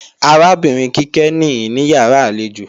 Arábìnrin Kíkẹ́ nìí níyàrá àlejò